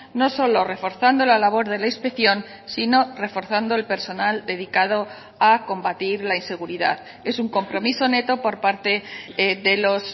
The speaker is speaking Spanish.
no solo reforzando la labor de la inspección sino reforzando el personal dedicado a combatir la inseguridad es un compromiso neto por parte de los